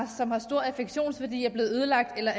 som har stor affektionsværdi er blevet ødelagt eller